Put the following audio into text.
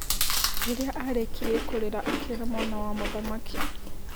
Rĩrĩa arĩkirie kũrĩra akĩĩra mwana wa mũthamaki.